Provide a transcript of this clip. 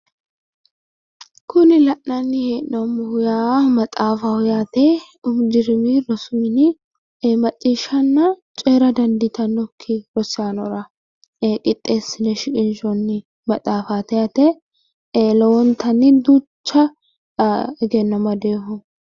Kuni la'nanni hee'noommohu yaa maxaafaho yaate. umi dirimi rosu mini macciishshanna coyira dandiitannokki rosaanora qixxeessine shiqinshoonni maxaafaati yaate lowontanni duucha egenno amadinoho